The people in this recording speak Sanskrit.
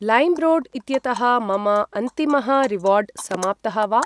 लैम्रोड् इत्यतः मम अन्तिमः रिवार्ड् समाप्तः वा?